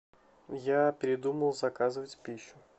я передумал заказывать пищу